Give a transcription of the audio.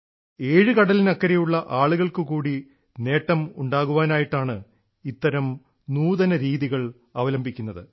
ഏഴു കടലിനക്കരെയുള്ള ആളുകൾക്കുകൂടി നേട്ടം ഉണ്ടാകാനായിട്ടാണ് ഇത്തരം നൂതനരീതികൾ അവലംബിക്കുന്നത്